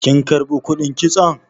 kin karbi kudin kitson?